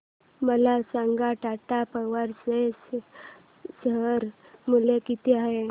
मला सांगा टाटा पॉवर चे शेअर मूल्य किती आहे